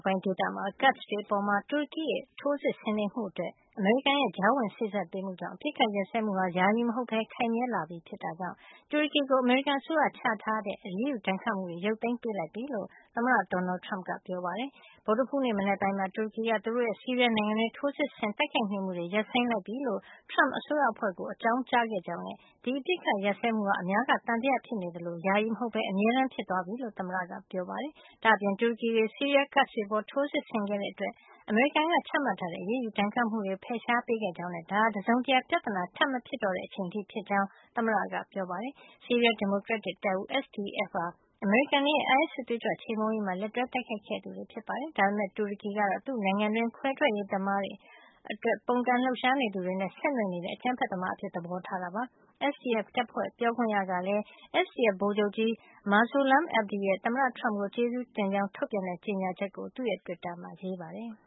ပိုင်း ဒေသမှာ ကာဒ့် အတွေအပေါ် တူရကီရဲ့ ထိုးစစ်ဆင်နေမှုအတွက် အမေရိကန်ရဲ့ ကြားဝင်စေ့စပ်ပေးမှုကြောင့် အပစ်အခတ်ရပ်စဲမှုဟာ ယာယီမဟုတ်ဘဲ ခိုင်မြဲလာပြီဖြစ်တဲ့အတွက် တူရကီကို အမေရိကန်အစိုးရချထားတဲ့ အရေးယူဒဏ်ခတ်မှုတွေ ရုပ်သိမ်း ပေးလိုက်ပြီလို့ အမေရိကန်သမ္မတ Donald Trump ကပြောပါတယ်။ ဗုဒ္ဓဟူးနေ့ မနက်ပိုင်းမှာ တူရကီက သူတို့ရဲ့ ဆီးရီးယားနိုင်ငံတွင်း ထိုးစစ်ဆင် တိုက်ခိုက်နေမှုတွေကို ရပ်ဆိုင်းလိုက်ပြီလို့ Trump အစိုးရအဖွဲ့ကို အကြောင်းကြားခဲ့ကြောင်းနဲ့ ဒီအပစ်အခတ်ရပ်စဲမှုဟာ အများက သံသယဖြစ်နေသလို ယာယီမဟုတ်ဘဲ အမြဲတမ်း ဖြစ်သွားပြီလို့ သမ္မတ Trump ကပြောပါတယ်။ ဒါ့အပြင် တူရကီတွေ ဆီးရီးယား Kurds တွေအပေါ် ထိုးစစ်ဆင်ခဲ့တဲအတွက် အမေရိကန်က ချမှတ်ထားတဲ့ အရေးယူ ဒဏ်ခတ်မှုတွေကို လည်း ဖယ်ရှားပေးခဲ့ကြောင်းနဲ့ ဒါဟာလည်း တစုံတရာ ပြဿနာ ထပ်မဖြစ်တော့တဲ့ အချိန်အထိ ဖြစ်ကြောင်း သမ္မတ Trump က ပြောပါတယ်။ ဆီးရီးယား ဒီမိုကရက်တစ်တပ်ဦး SDF ဟာ အမေရိကန်တွေရဲ့ အိုင်အက်စ်စစ်သွေးကြွ ချေမှုန်းရေးမှာ လက်တွဲ တိုက်ခိုက်ခဲ့သူတွေ ဖြစ်ပါတယ်။ ဒါပေမယ့် တူရကီကတော့ သူ့နိုင်ငံတွင်း ခွဲထွက်ရေးအတွက် ပုန်ကန်လှုပ်ရှားနေသူတွေနဲ့ ဆက်နွယ်နေတဲ့ အကြမ်းဖက်သမား တွေ အဖြစ် သဘောထားနေတာပါ။ SDF တပ်ဖွဲ့ ပြောခွင့်ရ Mustafa Bali ကလည်း SDF ဗိုလ်ချုပ်ကြီး Mazloum Abdi ရဲ့ သမ္မတ Trump ကို ကျေးဇူးတင်ကြောင်း ထုတ်ပြန်တဲ့ ကြေညာချက်ကို သူ့ရဲ့ တွစ်တာမှာ ရေးပါတယ်။